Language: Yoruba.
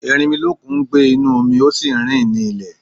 Erinmilọ́kun ń gbé inú omi, ó sì le rìn nílè.